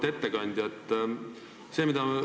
Auväärt ettekandja!